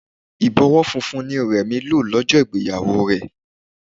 Ìbọwọ́ funfun ni Remi lò lọ́jọ́ ìgbéyàwó rẹ̀